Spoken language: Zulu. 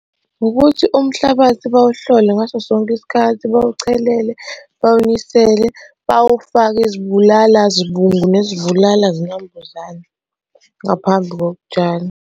Ukuthi umhlabathi bawuhlole ngaso sonke isikhathi, bawuchelele, bawunisele bawufake izibulala zibungu nezibulala zinambuzane ngaphambi kokutshala.